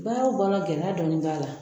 Baara o baara gɛlɛya dɔɔnin b'a la